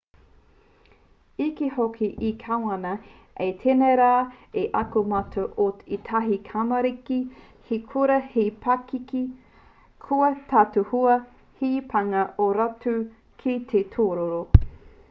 i kī hoki te kāwana i tēnei rā i ako mātou ko ētahi tamariki he kura te pakeke kua tautohua he pānga ō rātou ki te tūroro